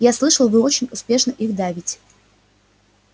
я слышал вы очень успешно их давите